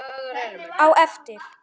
Á eftir.